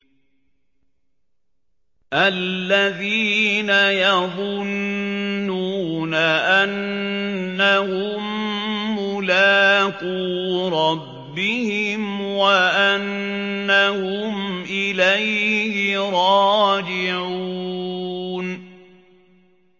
الَّذِينَ يَظُنُّونَ أَنَّهُم مُّلَاقُو رَبِّهِمْ وَأَنَّهُمْ إِلَيْهِ رَاجِعُونَ